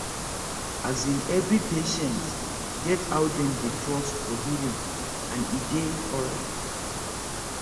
as in every patient get how them dey trust for healing and e dey alright